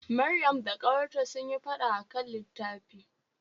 Maryam da ƙawarta sunyi fada akan litafi.